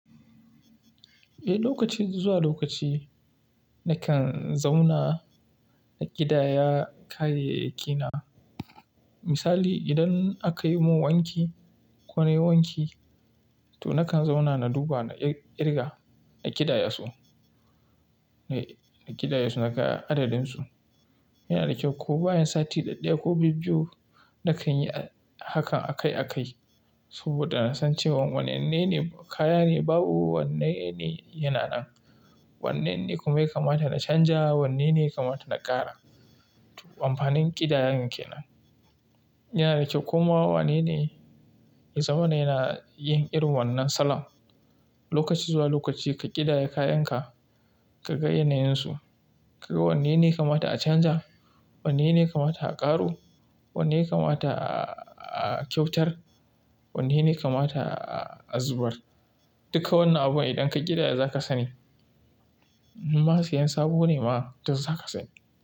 Eh, lokaci zuwa lokaci na kan zauna na ƙidaya kayayyaki na. Misali idan aka yi mun wanki ko na yi wanki, to na kan zauna na duba na ƙirga, na ƙidaya su, na ƙidaya su na ka adadin su. Yana da kyau ko bayan sati ɗaɗdaya ko bibbiyu na kan yi hakan akai-akai. Saboda na san cewa wanne ne kaya ne babu, wanne ne yana nan, wanne ne kuma ya kamata na canja, wanne ne kamata na ƙara. Amfanin ƙidayar ke nan. Yana da kyau kuma wanene ya zamana yana yin irin wannan salon. Lokaci zuwa lokaci ka ƙidaya kayan ka, ka ga yanayin su. Ka ga wannene ya kamata a canja, wanene kamata a ƙaro, wanene kamata a-a-a kyautar, wanene kamata a-a-a zubar. Duka wannan abun idan ka ƙidaya za ka sani. Ma sayan sabo ne ma, to za ka sani.